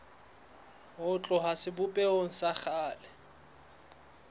ho tloha sebopehong sa kgale